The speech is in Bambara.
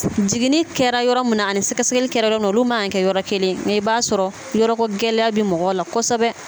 Jigini kɛra yɔrɔ min na ani sɛgɛ sɛgɛli kɛra yɔrɔ min na olu man kan ka kɛ yɔrɔ kelen nka i b'a sɔrɔ yɔrɔ ko gɛlɛya bɛ mɔgɔw la kosɛbɛ.